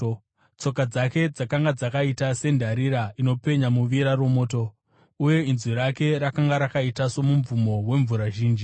Tsoka dzake dzakanga dzakaita sendarira inopenya muvira romoto, uye inzwi rake rakanga rakaita somubvumo wemvura zhinji.